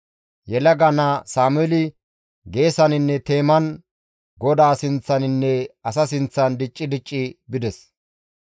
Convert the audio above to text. Yelaga naa Sameeli geesaninne teeman GODAA sinththaninne asa sinththan dicci dicci bides.